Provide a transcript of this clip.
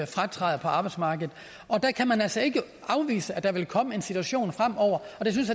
fratræde på arbejdsmarkedet der kan man altså ikke afvise at der ville komme en situation fremover og